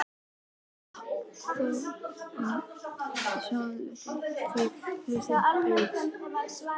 Þorgrímur Sigurðsson, síðar prestur á Staðarstað.